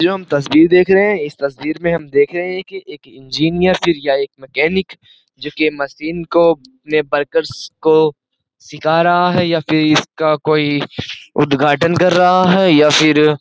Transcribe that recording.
जो हम तस्वीर देख रहे है इस तस्वीर में हम देख रहे हैं कि एक इंजीनियर फिर या एक मैकेनिक जिसके मशीन को अपने वर्कर्स को सिखा रहा है या फिर इसका कोई उद्घाटन कर रहा है या फिर --